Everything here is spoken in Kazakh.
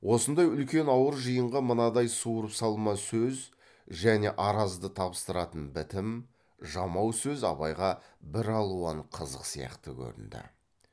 осындай үлкен ауыр жиынға мынадай суырып салма сөз және аразды табыстыратын бітім жамау сөз абайға бір алуан қызық сияқты көрінді